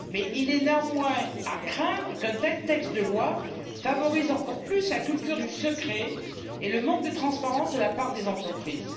Il est néanmoins à craindre qu'un tel texte de loi favorise encore davantage la culture du secret et le manque de transparence de la part des entreprises.